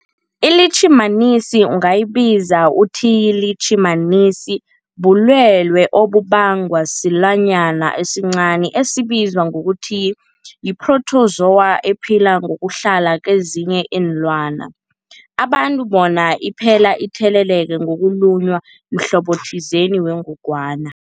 iLitjhimanisi ungayibiza uthiyilitjhimanisi, bulwelwe obubangwa silwanyana esincani esibizwa ngokuthiyi-phrotozowa ephila ngokuhlala kezinye iinlwana, abantu bona iphile itheleleka ngokulunywa mhlobo othize wengogwana.